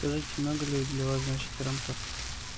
скажите много ли для вас значит трантор